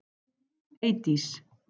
Eydís